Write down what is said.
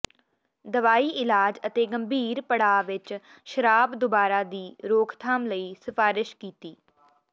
ਦਵਾਈ ਇਲਾਜ ਅਤੇ ਗੰਭੀਰ ਪੜਾਅ ਵਿੱਚ ਸ਼ਰਾਬ ਦੁਬਾਰਾ ਦੀ ਰੋਕਥਾਮ ਲਈ ਸਿਫਾਰਸ਼ ਕੀਤੀ